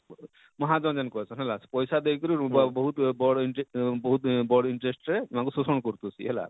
ମହା ଜନେନେ କହେସନ ହେଲା ପଇସା ଦେଇ କରି ରୁବାବ ବହୁତ ବଡ଼ interest ବହୁତ ବଡ଼ interest ଇମାନକୁ ଶୋଷଣ କରୁ ଥିସି ହେଲା